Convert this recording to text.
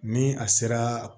Ni a sera